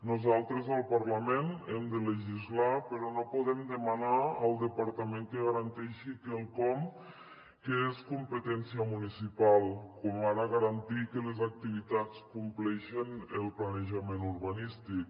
nosaltres al parlament hem de legislar però no podem demanar al departa ment que garanteixi quelcom que és competència municipal com ara garantir que les activitats compleixen el planejament urbanístic